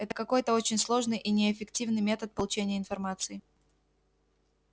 это какой-то очень сложный и неэффективный метод получения информации